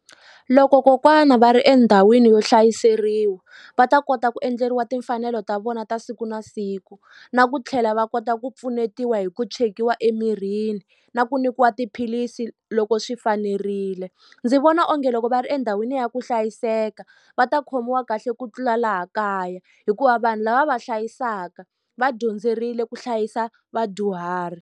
Loko kokwana va ri endhawini yo hlayiseriwa va ta kota ku endleriwa timfanelo ta vona ta siku na siku na ku tlhela va kota ku pfunetiwa hi ku chekiwa emirini na ku nyikiwa tiphilisi loko swi fanerile ndzi vona onge loko va ri endhawini ya ku hlayiseka va ta khomiwa kahle ku tlula laha kaya hikuva vanhu lava va va hlayisaka va dyondzerile ku hlayisa vadyuhari.